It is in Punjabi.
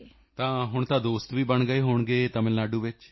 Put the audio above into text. ਤਾਂ ਹੁਣ ਤਾਂ ਦੋਸਤ ਵੀ ਬਣ ਗਏ ਹੋਣਗੇ ਤਮਿਲ ਨਾਡੂ ਵਿੱਚ